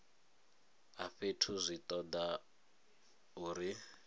a fhethu zwi toda uri